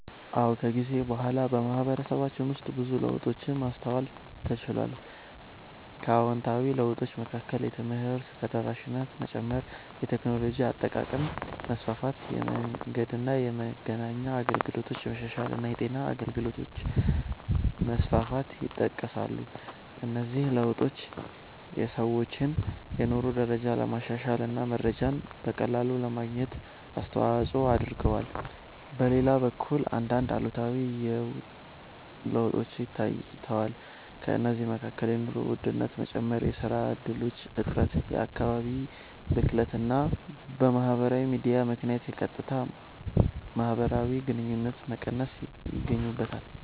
አዎ፣ ከጊዜ በኋላ በማህበረሰባችን ውስጥ ብዙ ለውጦችን ማስተዋል ተችሏል። ከአዎንታዊ ለውጦች መካከል የትምህርት ተደራሽነት መጨመር፣ የቴክኖሎጂ አጠቃቀም መስፋፋት፣ የመንገድና የመገናኛ አገልግሎቶች መሻሻል እና የጤና አገልግሎቶች መስፋፋት ይጠቀሳሉ። እነዚህ ለውጦች የሰዎችን የኑሮ ደረጃ ለማሻሻል እና መረጃን በቀላሉ ለማግኘት አስተዋጽኦ አድርገዋል። በሌላ በኩል አንዳንድ አሉታዊ ለውጦችም ታይተዋል። ከእነዚህ መካከል የኑሮ ውድነት መጨመር፣ የሥራ እድሎች እጥረት፣ የአካባቢ ብክለት እና በማህበራዊ ሚዲያ ምክንያት የቀጥታ ማህበራዊ ግንኙነቶች መቀነስ ይገኙበታል።